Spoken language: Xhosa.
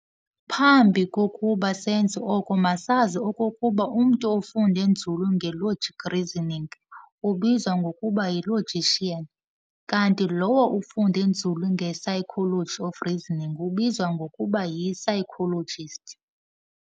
Phambi kokuba senze oko masazi okokuba umntu ofunde nzulu nge-"logic reasoning" ubizwa ngokuba yi-"logician", kanti lowo ufunde nzulu nge-"psychology of reasoning ubizwa ngokuba yi-psychologist.'